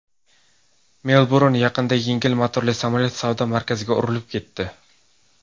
Melburn yaqinida yengil motorli samolyot savdo markaziga urilib ketdi.